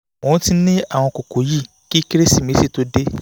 ó ti ń ní àwọn kókó yìí kí kérésìmesì tó dé